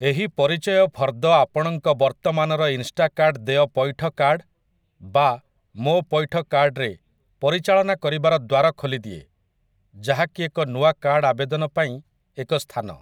ଏହି ପରିଚୟ ଫର୍ଦ୍ଦ ଆପଣଙ୍କ ବର୍ତ୍ତମାନର ଇନ୍‌ଷ୍ଟାକାର୍ଟ୍‌ ଦେୟ ପୈଠ କାର୍ଡ଼ ବା 'ମୋ ପୈଠ କାର୍ଡ଼' ରେ ପରିଚାଳନା କରିବାର ଦ୍ୱାର ଖୋଲିଦିଏ, ଯାହାକି ଏକ ନୂଆ କାର୍ଡ଼ ଆବେଦନ ପାଇଁ ଏକ ସ୍ଥାନ ।